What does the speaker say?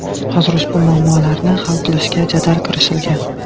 Hozir ushbu muammolarni hal qilishga jadal kirishilgan.